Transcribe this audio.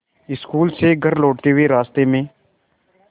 school से घर लौटते हुए रास्ते में